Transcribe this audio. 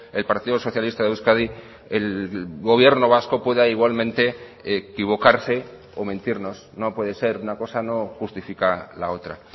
el partido socialista de euskadi el gobierno vasco pueda igualmente equivocarse o mentirnos no puede ser una cosa no justifica la otra